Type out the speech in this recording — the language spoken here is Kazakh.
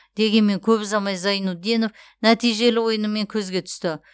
дегенмен көп ұзамай зайнутдинов нәтижелі ойынымен көзге түсті